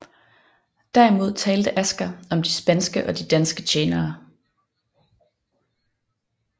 Derimod talte Asger om de spanske og de danske tjenere